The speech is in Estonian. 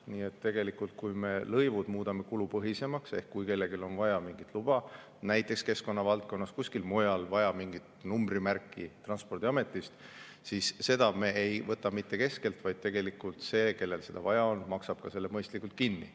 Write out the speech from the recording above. Nii et tegelikult, kui me lõivud muudame kulupõhisemaks ehk kui kellelgi on vaja mingit luba näiteks keskkonna valdkonnas või kuskil mujal, mingit numbrimärki Transpordiametist, siis seda me ei võta mitte keskelt, vaid tegelikult see, kellel seda vaja on, maksab ka selle mõistlikult kinni.